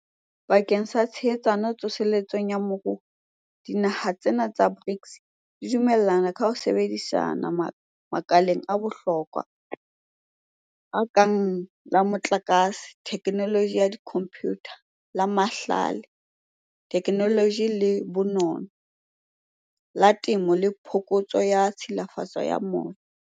Bakeng sa tshehetsano tso seletsong ya moruo, dinaha tsena tsa BRICS di dumellane ka ho sebedisana makaleng a bohlokwa a kang la motlakase, thekenoloji ya dikhomputara, la mahlale, thekenoloji le bonono, la temo le phokotso ya tshilafalo ya moya.